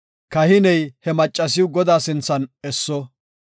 Kahiney he maccasiw Godaa sinthan esso.